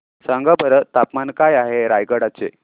सांगा बरं तापमान काय आहे रायगडा चे